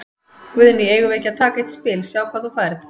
Guðný: Eigum við ekki að taka eitt spil, sjá hvað þú færð?